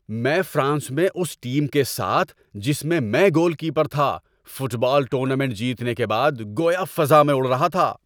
میں فرانس میں اس ٹیم کے ساتھ، جس میں میں گول کیپر تھا، فٹ بال ٹورنامنٹ جیتنے کے بعد گویا فضا میں اڑ رہا تھا۔